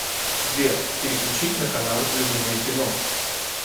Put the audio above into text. сбер переключить на канал любимое кино